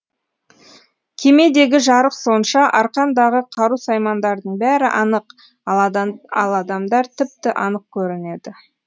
кемедегі жарық сонша арқандағы қару саймандардың бәрі анық ал адамдар тіпті анық көрінеді